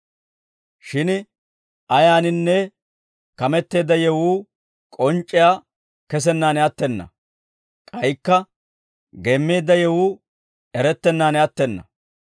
Shin ayaaninne kameteedda yewuu k'onc'c'iyaa kesennaan attena; k'aykka geemmeedda yewuu erettennaan attena.